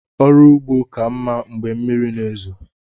ọrụ ugbo ka mmá Mgbe mmiri na ezo.